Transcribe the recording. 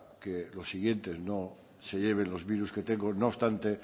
que los siguientes no se lleven los virus que tengo no obstante